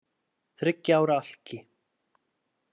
Þriggja ára alki